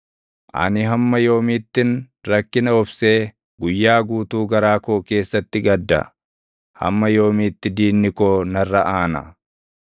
Ani hamma yoomiittin rakkina obsee guyyaa guutuu garaa koo keessatti gadda? Hamma yoomiitti diinni koo narra aana?